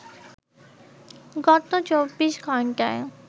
গত ২৪ ঘন্টায়